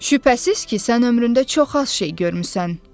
Şübhəsiz ki, sən ömründə çox az şey görmüsən.